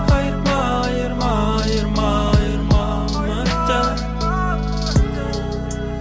айырма айырма айырма айырма үміттен